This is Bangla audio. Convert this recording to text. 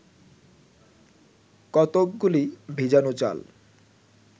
কতকগুলি ভিজানো চাল